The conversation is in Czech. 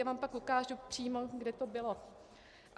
Já vám pak ukážu přímo, kde to bylo.